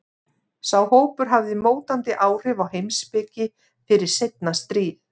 Sá hópur hafði mótandi áhrif á heimspeki fyrir seinna stríð.